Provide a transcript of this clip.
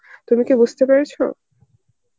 তুমি কি বুঝতে পেরেছ?